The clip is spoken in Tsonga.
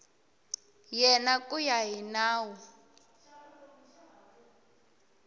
yena ku ya hi nawu